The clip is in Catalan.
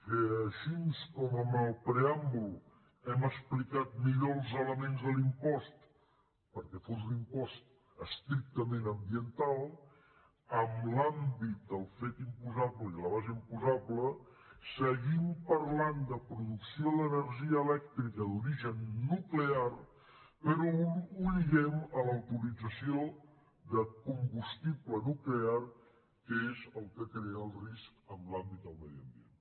que així com en el preàmbul hem explicat millor els elements de l’impost perquè fos un impost estrictament ambiental en l’àmbit del fet imposable i la base imposable seguim parlant de producció d’energia elèctrica d’origen nuclear però ho lliguem a l’autorització de combustible nuclear que és el que crea el risc en l’àmbit del medi ambient